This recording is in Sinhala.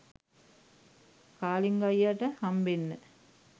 කාලිංග අයියට හම්බෙන්න